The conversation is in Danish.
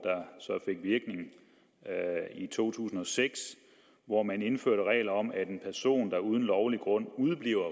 der i to tusind og seks og hvor man indførte regler om at en person der uden lovlig grund udebliver